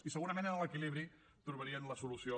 i segurament en l’equilibri trobarien la solució